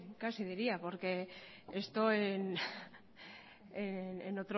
casi diría porque esto en